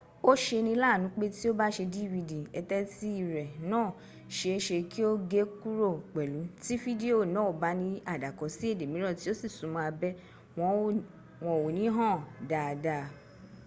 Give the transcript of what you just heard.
ó ṣeni láàánú pé tí o bá ṣe dvd eteti rẹ náà ṣe é ṣe kí ó gé kúrò pẹ̀lú tí fídíò náà bá ní àdàkọ sií èdè mìíràn tí o sì súnmọ́ abẹ́ wọn ò ní hàn dáadáa